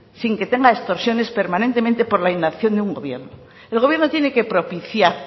sin que tenga extorsiones permanentemente por la inacción de un gobierno el gobierno tiene que propiciar